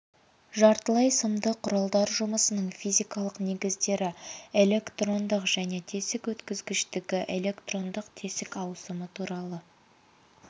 жартылай сымды құралдар жұмысының физикалық негіздері электрондық және тесік өткізгіштігі электрондық тесік ауысымы туралы